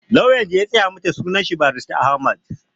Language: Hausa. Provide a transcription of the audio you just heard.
Lauyan da ya tsaya mata sunan shi Barista Ahmed